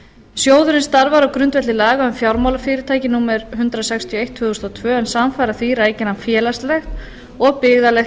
sjóðurinn starfar á grundvelli laga um fjármálafyrirtæki númer hundrað sextíu og eitt tvö þúsund og tvö en samfara því rækir hann félagslegt og byggðalegt